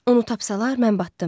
Onu tapsalar mən batdım.